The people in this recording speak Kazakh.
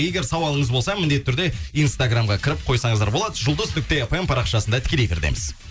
егер сауалыңыз болса міндетті түрде инстаграмға кіріп қойсаңыздар болады жұлдыз нүкте фм парақшасында тікелей эфирдеміз